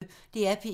DR P1